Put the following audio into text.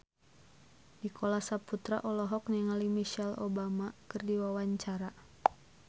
Nicholas Saputra olohok ningali Michelle Obama keur diwawancara